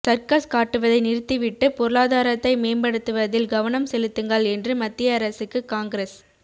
circus காட்டுவதை நிறுத்திவிட்டு பொருளாதாரத்தை மேம்படுத்துவதில் கவனம் செலுத்துங்கள் என்று மத்திய அரசுக்கு காங்கிரஸ்